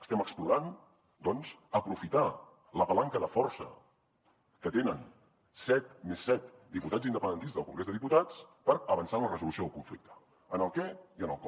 estem explorant doncs aprofitar la palanca de força que tenen set més set diputats independentistes al congrés dels diputats per avançar en la resolució del conflicte en el què i en el com